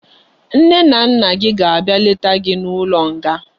Nne na nna gi ga abia leta gi na ulo nga